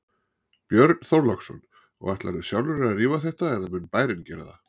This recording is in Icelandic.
Björn Þorláksson: Og ætlarðu sjálfur að rífa þetta eða mun bærinn gera það?